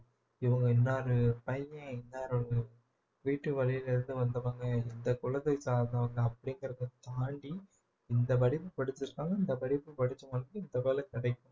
இவங்க இன்னாரு பையன் இன்னாருடைய வீட்டு வழியில இருந்து வந்தவங்க இந்த குலத்தை சார்ந்தவங்க அப்படிங்கிறதை தாண்டி இந்த படிப்பு படிச்சுருக்காங்க இந்த படிப்பு படிச்சவங்களுக்கு இந்த வேலை கிடைக்கும்